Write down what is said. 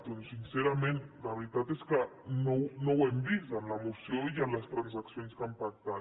doncs sincerament la veritat és que no ho hem vist en la moció ni en les transaccions que han pactat